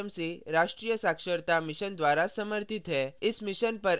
इस mission पर अधिक जानकारी नीचे दिए गए link पर उपलब्ध है